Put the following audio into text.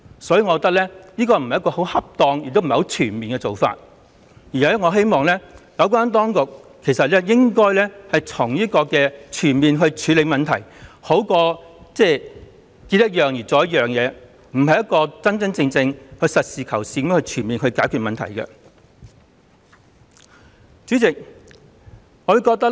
所以，我認為這不是恰當和全面的做法，我希望有關當局全面地處理問題，這樣總比遇到一件事才解決一件事的做法好，因為這樣不是真真正正、實事求是、全面解決問題的做法。